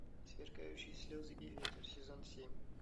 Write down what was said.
сверкающие слезы и ветер сезон семь